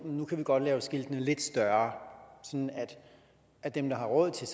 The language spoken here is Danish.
kan vi godt lave skiltene lidt større sådan at dem der har råd til